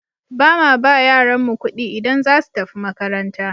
Ba ma ba yaranmu ƙuɗi idan za su tafi makaranta.